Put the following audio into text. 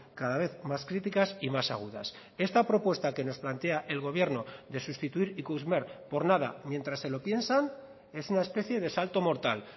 cada vez más críticas y más agudas esta propuesta que nos plantea el gobierno de sustituir ikusmer por nada mientras se lo piensan es una especie de salto mortal